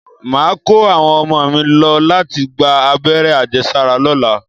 Màá kó àwọn ọmọ mi lọ láti gba abẹ́rẹ́ àjẹsára lọ́la